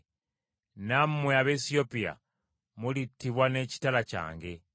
Nammwe Abaesiyopiya, mulittibwa n’ekitala kyange.